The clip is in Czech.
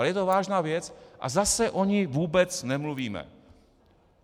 Ale je to vážná věc a zase o ní vůbec nemluvíme.